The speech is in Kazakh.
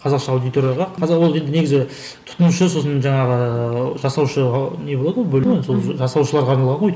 қазақша аудиторияға қазақ негізі тұтынушы сосын жаңағы жасаушы ы не болады ғой бөлім болады ғой жасаушыларға арналған ғой